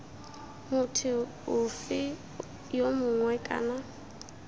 motho ofe yo mongwe kana